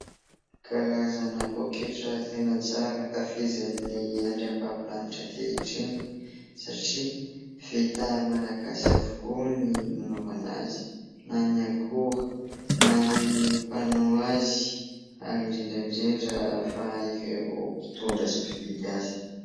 Karazana paoketra tena tsara, ankafizin'ny andriam-bavolanitra ankehitriny satria vita malagasy avokoa ny nanaovana azy na ny akora, na ny mpanao azy ary indrindra indrindra fa ireo mpitondra sy mpividy azy.